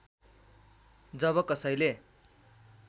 जब कसैले